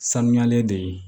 Sanuyalen de ye